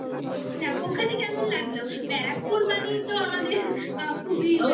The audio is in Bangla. যাক ওখানে কেমন লাগলো ব্যারাকপুর মানেই তো আমাদের আ খুবই